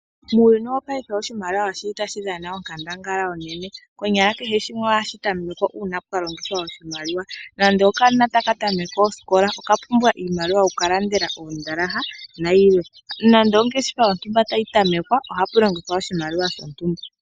Uuyuni wopaife oshimaliwa osho ihe tashi dhana onkandangala onene, konyala kehe shimwe ohashi tamekwa uuna pwa longithwa oshimaliwa , nando okanona taka tameke osikola oka pumbwa iimaliwa yoku ka landela oondalaha nayilwe nando ongeshefa yontumba tayi tamekwa ohapu longithwa oshimaliwa shontumba.